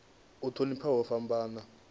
u thonifha u fhambana ha